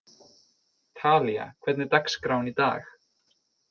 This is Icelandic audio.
Talía, hvernig er dagskráin í dag?